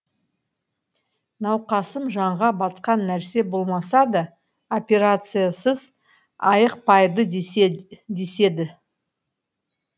науқасым жанға батқан нәрсе болмаса да операциясыз айықпайды деседі